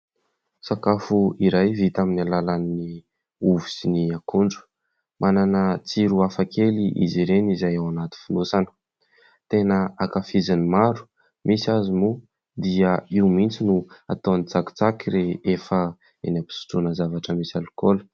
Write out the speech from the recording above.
Sakafo iray vita amin'ny alalan'ny ovy sy ny akondro. Manana tsiro hafa kely izy ireny izay ao anaty fonosana. Tena ankafizin'ny maro, misy aza moa dia io mihintsy no ataon'ny tsakitsaky rehefa eny am-pisotroana zavatra misy alikaola.